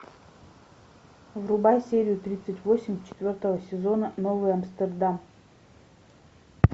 врубай серию тридцать восемь четвертого сезона новый амстердам